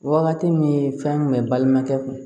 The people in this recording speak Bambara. Wagati min fɛn kun bɛ balimakɛ kun